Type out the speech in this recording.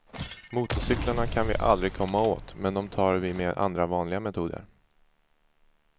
Motorcyklarna kan vi aldrig komma åt, men de tar vi med andra vanliga metoder.